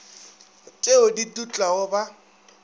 t eo di dutlago ba